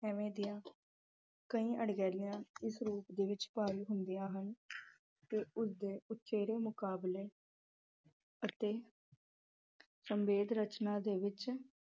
ਇਵੇਂ ਦੀਆਂ ਕਈ ਅਣਗਹਿਲੀਆਂ ਇਸ ਰੂਪ ਵਿੱਚ ਭਾਰੂ ਹੁੰਦਿਆ ਹਨ। ਤੇ ਉਸ ਦੇ ਉਚੇਰੇ ਮੁਕਾਬਲੇ ਅਤੇ ਸੰਖੇਪ ਰਚਨਾ ਦੇ ਵਿੱਚ